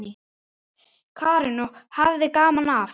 Karen: Og hafði gaman af?